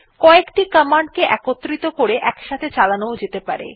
ক একটি কমান্ড কে একত্র করে একসাথে চালানো যেতে পারে